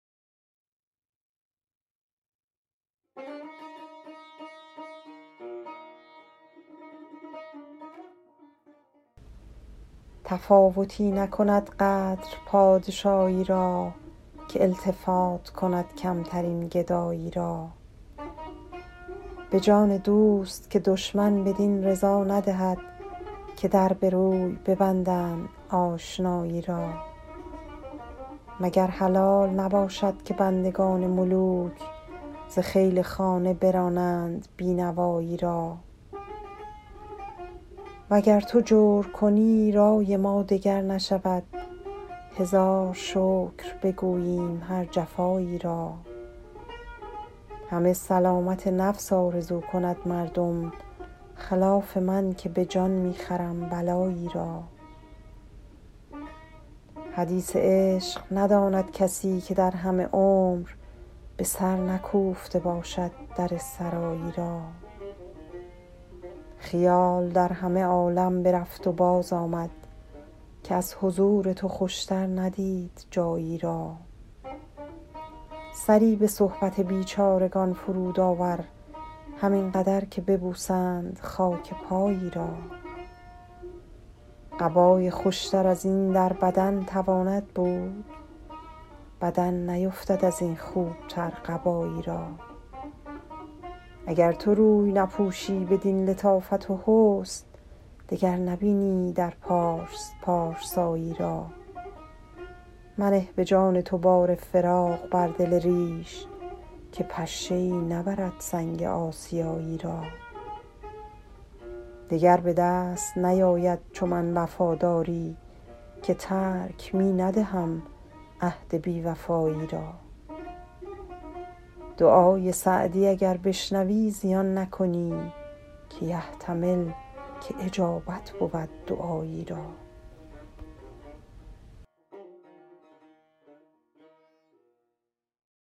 تفاوتی نکند قدر پادشایی را که التفات کند کمترین گدایی را به جان دوست که دشمن بدین رضا ندهد که در به روی ببندند آشنایی را مگر حلال نباشد که بندگان ملوک ز خیل خانه برانند بی نوایی را و گر تو جور کنی رای ما دگر نشود هزار شکر بگوییم هر جفایی را همه سلامت نفس آرزو کند مردم خلاف من که به جان می خرم بلایی را حدیث عشق نداند کسی که در همه عمر به سر نکوفته باشد در سرایی را خیال در همه عالم برفت و بازآمد که از حضور تو خوشتر ندید جایی را سری به صحبت بیچارگان فرود آور همین قدر که ببوسند خاک پایی را قبای خوشتر از این در بدن تواند بود بدن نیفتد از این خوبتر قبایی را اگر تو روی نپوشی بدین لطافت و حسن دگر نبینی در پارس پارسایی را منه به جان تو بار فراق بر دل ریش که پشه ای نبرد سنگ آسیایی را دگر به دست نیاید چو من وفاداری که ترک می ندهم عهد بی وفایی را دعای سعدی اگر بشنوی زیان نکنی که یحتمل که اجابت بود دعایی را